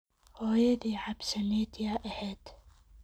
Xoyodhi cabsanet yaa ehed.